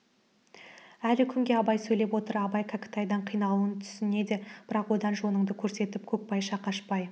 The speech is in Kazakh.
әлі күнге абай сөйлеп отыр абай кәкітайдың қиналуын түсінде де бірақ одан жоныңды көрсетіп көкбайша қашпай